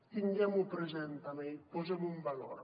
tinguem ho present també i posem ho en valor